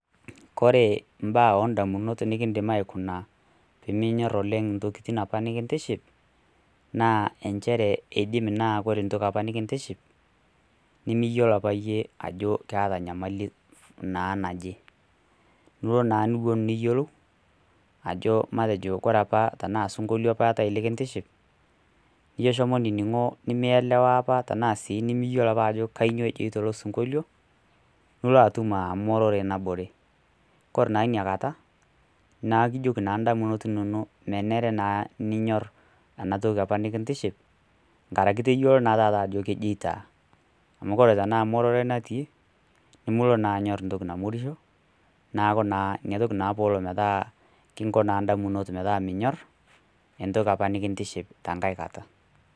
Koree imbaa oo damunot nikidim aikuna peminyor oleng ntokitin apa nikintiship naa inchere idim naa aku ore apa entoki nikintiship nemiyiolo apa iyie ajo ketaa naa enyamali naje. Duo na teniyiolou ajo matejo ajo kore apa osinkolio la duapa likintiship nijo shomo nining'o nimeyelewa apa ashu nimiyiolo ajo kainyoo ajoito ilo sinkolio, ilo atum aa emorore nabore. Kore na inyakata naa ikijoki naa idamunot inonok menare naa ninyor ena toki apa nikintiship nkarakii naa tayiolo naa taata ajo kejeitaa. Amu kore na tanakata amu ororei naati namukure naa inyor entoki namorisho naaku ina toki naa apa kinko na damunot meeta minyor entoki apa nikintiship tenkae kata.